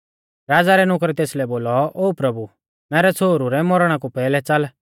राज़ा रै नुकरै तेसलै बोलौ ओ प्रभु मैरै छ़ोहरु रै मौरणा कु पैहलै च़ाल